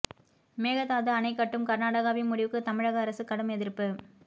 மேகதாது அணை கட்டும் கர்நாடகாவின் முடிவுக்கு தமிழக அரசு கடும் எதிர்ப்பு